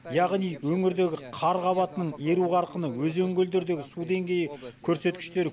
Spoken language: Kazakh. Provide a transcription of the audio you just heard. яғни өңірдегі қар қабатының еру қарқыны өзен көлдердегі су деңгейі көрсеткіштері